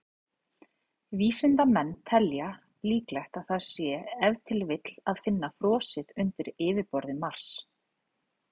Vísindamenn telja líklegt að það sé ef til vill að finna frosið undir yfirborði Mars.